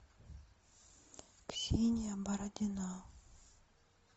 ксения бородина